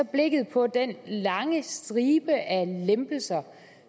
blikket på den lange stribe af lempelser